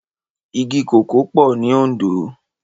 Igi kókòó pò ni Ondo